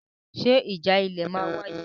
Ṣe ìjà ilẹ̀ máa wáyé?